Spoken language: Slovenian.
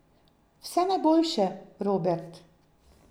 Vse najboljše, Robert.